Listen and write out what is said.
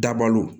Dabali